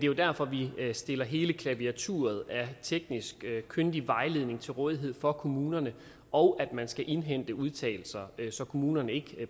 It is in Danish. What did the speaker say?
jo derfor vi stiller hele klaviaturet af teknisk kyndig vejledning til rådighed for kommunerne og at man skal indhente udtalelser så kommunerne ikke